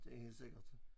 Det er helt sikkert